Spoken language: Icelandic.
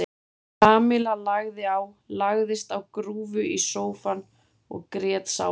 Kamilla lagði á, lagðist á grúfu í sófann og grét sáran.